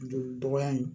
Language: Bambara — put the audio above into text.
Joli dɔgɔya in